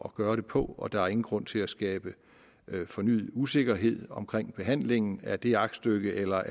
at gøre det på og der er ingen grund til at skabe fornyet usikkerhed omkring behandlingen af det aktstykke eller